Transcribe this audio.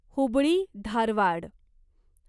Hubli Dharwad